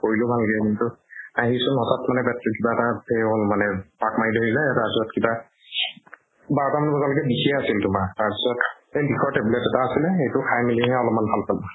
কৰিলো ভালকে আহিছো নʼটাত মানে তাত কিবা এটা সেই হল মানে পাক মাৰি ধৰিলে। তাৰ পিছত কিবা বাৰ টা মান বজালৈকে বিষে আছিল তোমাৰ। তাৰ পিছত এই বিষৰ tablet এটা আছিলে, সেইটো খাই মেলি হে অলমান ভাল পালো।